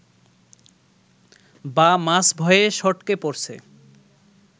বা মাছ ভয়ে সটকে পড়ছে